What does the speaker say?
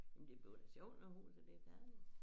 Men det bliver da sjovt når huset det færdigt